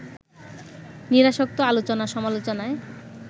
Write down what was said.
নিরাসক্ত আলোচনা-সমালোচনায়